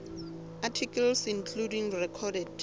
articles including recorded